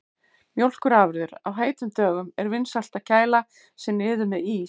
Mjólkurafurðir: Á heitum dögum er vinsælt að kæla sig niður með ís.